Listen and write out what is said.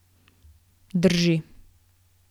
Drži.